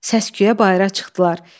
Səsküyə bayıra çıxdılar.